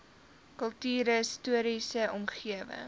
kultuurhis toriese omgewing